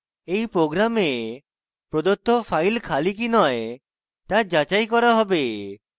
in program প্রদত্ত file খালি কি নয় তা যাচাই করা হবে